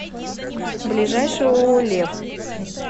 ближайший ооо лев